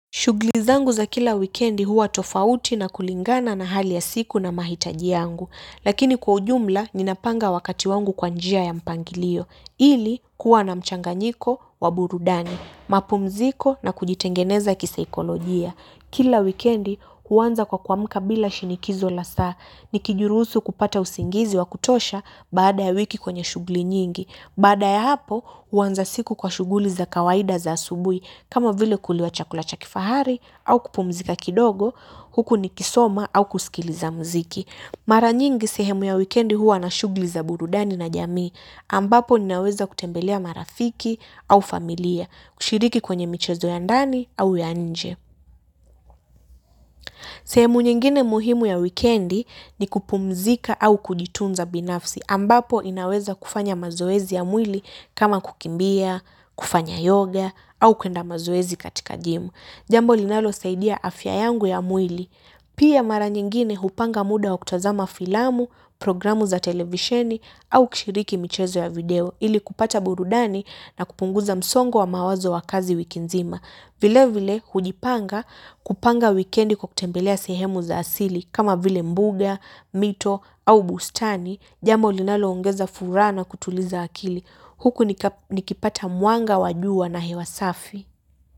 Shughuli zangu za kila wikendi huwa tofauti na kulingana na hali ya siku na mahitaji yangu. Lakini kwa ujumla, ninapanga wakati wangu kwa njia ya mpangilio. Ili, kuwa na mchanganyiko, wa burudani, mapumziko na kujitengeneza kisaikolojia. Kila wikendi, huanza kwa kuamka bila shinikizo la saa. Nikijiruhusu kupata usingizi wa kutosha baada ya wiki kwenye shughuli nyingi. Baada ya hapo, huanza siku kwa shughuli za kawaida za asubuhi, kama vile kuliwa chakula cha kifahari au kupumzika kidogo, huku nikisoma au kusikiliza mziki. Mara nyingi sehemu ya weekendi huwa na shughuli za burudani na jamii, ambapo ninaweza kutembelea marafiki au familia, kushiriki kwenye michezo ya ndani au ya nje. Sehemu nyingine muhimu ya wikendi ni kupumzika au kujitunza binafsi ambapo inaweza kufanya mazoezi ya mwili kama kukimbia, kufanya yoga au kwenda mazoezi katika jimu. Jambo linalosaidia afya yangu ya mwili. Pia mara nyingine hupanga muda wa kutazama filamu, programu za televisheni au kishiriki michezo ya video ili kupata burudani na kupunguza msongo wa mawazo wa kazi wiki nzima. Vile vile hujipanga kupanga wikendi kwa kutembelea sehemu za asili kama vile mbuga, mito au bustani jambo linaloongeza furaha na kutuliza akili. Huku nikipata mwanga wa jua na hewa safi.